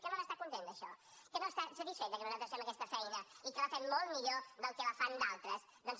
que no n’està content d’això que no està satisfet de que nosaltres fem aquesta feina i que la fem molt millor del que la fan d’altres doncs